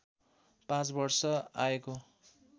पाँच वर्ष आएको